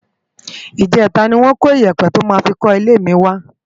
Ijètá ni wòn kó iyèpè tò má fi kò ilé mi wá